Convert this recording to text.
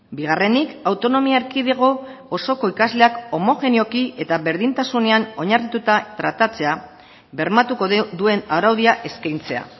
bigarrenik autonomia erkidego osoko ikasleak homogeneoki eta berdintasunean oinarrituta tratatzea bermatuko duen araudia eskaintzea